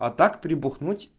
а так прибухнуть